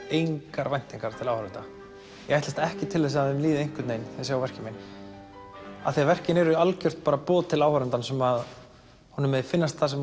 engar væntingar til áhorfenda ég ætlast ekki til þess að þeim líði einhvern veginn þeir sjá verkin mín af því verkin eru algjört boð til áhorfandans um að honum megi finnast það sem